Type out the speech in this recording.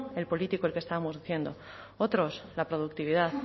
el político el que estamos diciendo otros la productividad